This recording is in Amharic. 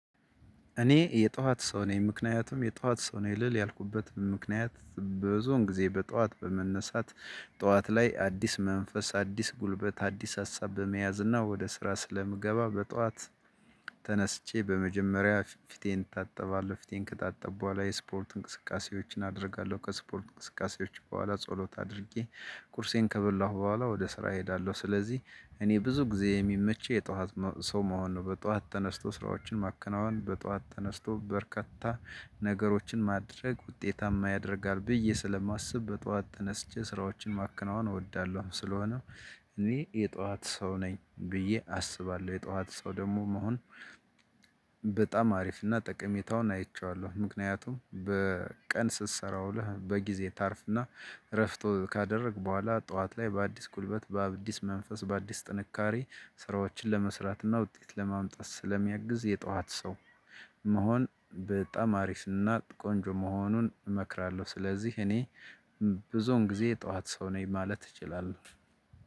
እኔ የጧት ሰው ነኝ ምክንያቱም የጧት ሰው ነኝ ልል ያልኩበት ምክንያት ብዙን ጊዜ በጧት በመነሳት ጠዋት ላይ አዲስ መንፈስ አዲስ ጉልበት አዲስ ሀሳብ በመያዝ እና ወደ ስራ ስለምገባ በጧት። ተነስቼ በመጀመሪያ ፊቴን እታጠባለሁ ፊቴን ከታጠብኩ በኋላ የስፖርት እንቅስቃሴዎችን አደርጋለሁ ከስፖርት እንቅስቃሴዎች በኋላ ጸሎት አድርጌ ቁርሴን ከበላሁ በኋላ ወደ ስራ እሄዳለሁ። ስለዚህ እኔ ብዙ ጊዜ የሚመቸኝ የጠዋት ሰው መሆን ነው። በጠዋት ተነስቶ ስራዎችን ማከናወን በጠዋት ተነስቶበርካታ ነገሮችን ማድረግ ውጤታማ ያደርጋል ብዬ ስለማስብ በጠዋት ተነስቼ ስራዎችን ማከናወን እወዳለሁ። ስለሆነ እኔ የጠዋት ሰው ነኝ ብዬ አስባለሁ። የጠዋት ሰው ደግሞ መሆን በጣም አሪፍ እና ጠቀሜታውን አይቼዋለሁ። ምክንያቱም በቀን ስትሰራ ውለህ በጊዜ ታርፍና። እረፍት ካደረክ በኋላ ጠዋት ላይ በአዲስ ጉልበት በአዲስ መንፈስ በአዲስ ጥንካሬ ስራዎችን ለመስራትና ውጤት ለማምጣት ስለሚያግዝ። የጠዋት ሰው መሆን በጣም አሪፍ እና ቆንጆ መሆኑን እመክራለሁ። ስለዚህ እኔ ብዙውን ጊዜ የጠዋት ሰው ነኝ ማለት እችላለሁ።